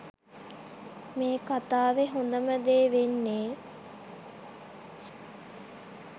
මේ කථාවෙ හොදම දේ වෙන්නේ